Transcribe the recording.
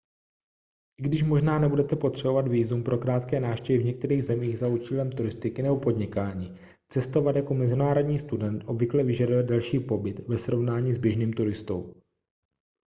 i když možná nebudete potřebovat vízum pro krátké návštěvy v některých zemích za účelem turistiky nebo podnikání cestovat jako mezinárodní student obvykle vyžaduje delší pobyt ve srovnání s běžným turistou